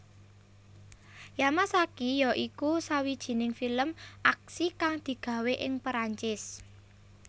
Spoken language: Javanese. Yamakasi ya iku sawijining film aksi kang digawé ing Perancis